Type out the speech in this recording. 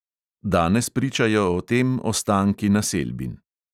Danes pričajo o tem ostanki naselbin.